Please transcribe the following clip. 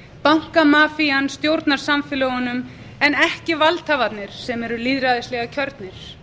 því að fjármagnseigendurnir bankamafían stjórnar samfélögunum en ekki valdhafarnir sem eru lýðræðislega kjörnir